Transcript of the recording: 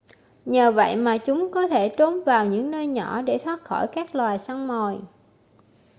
nhờ vậy mà chúng có thể trốn vào những nơi nhỏ để thoát khỏi các loài săn mồi